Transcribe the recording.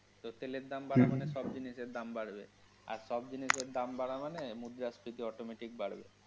তো তেলের দাম বাড়া মানে, হুম সব জিনিসের দাম বাড়বে আর সব জিনিসের দাম বাড়া মানে মুদ্রস্মৃতি automatic বাড়বে।